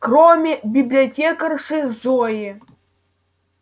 кроме библиотекарши зои